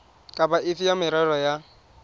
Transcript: kapa efe ya merero ya